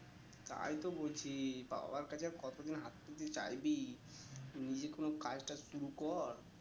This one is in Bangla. তাই তো বলছি বাবাটাকে কতদিন চাইবি নিজে কোনো কাজ টাজ শুরু কর